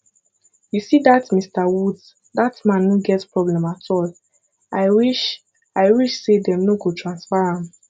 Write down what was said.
you see dat mr woods dat man no get problem at all i wish i wish say dem no go transfer am